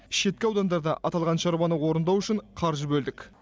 шеткі аудандарда аталған шаруаны орындау үшін қаржы бөлдік